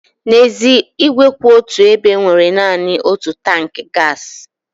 N'ezie, ígwè kwụ otù ebe nwere naanị otu tankị gaasị.